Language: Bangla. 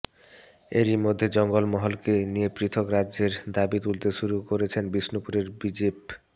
এরই মধ্যে জঙ্গলমহলকে নিয়ে পৃথক রাজ্যের দাবি তুলতে শুরু করেছেন বিষ্ণুপুরের বিজেপ